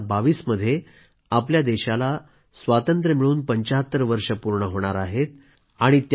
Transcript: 2022 मध्ये आपल्या देशाला स्वातंत्र्य मिळून 75 वर्ष पूर्ण होणार आहेत